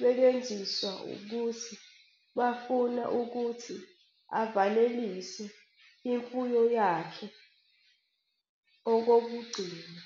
bekwenziswa ukuthi bafuna ukuthi avalelise imfuyo yakhe yokugcina.